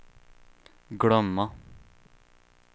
glömma